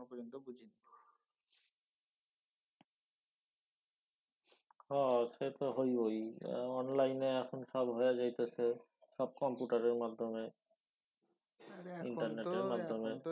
হ সে তো হইবই। অনলাইনে এখন সব হয়া যাইতাছে। সব কম্পিউটারের মাধ্যমে ইন্টারনেটের মাধ্যমে।